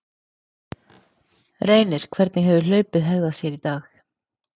Reynir, hvernig hefur hlaupið hegðað sér í dag?